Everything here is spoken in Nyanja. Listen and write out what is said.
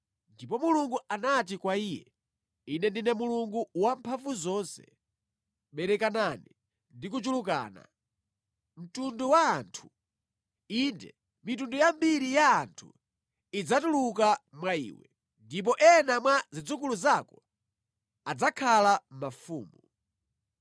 Ndipo Mulungu anati kwa iye, “Ine ndine Mulungu Wamphamvuzonse; berekanani ndi kuchulukana. Mtundu wa anthu, inde, mitundu yambiri ya anthu idzatuluka mwa iwe, ndipo ena mwa zidzukulu zako adzakhala mafumu.